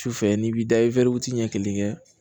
Sufɛ n'i b'i da i ɲɛ kelen kɛ